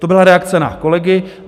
To byla reakce na kolegy.